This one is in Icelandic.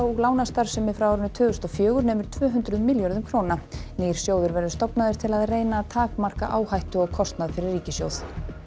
lánastarfsemi frá tvö þúsund og fjögur nemur tvö hundruð milljörðum nýr sjóður verður stofnaður til að reyna að takmarka áhættu og kostnað fyrir ríkissjóð